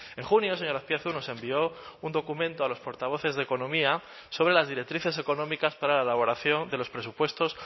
en junio señor azpiazu nos envió un documento a los portavoces de economía sobre las directrices económicas para la elaboración de los presupuestos